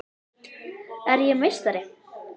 Er ég meistari?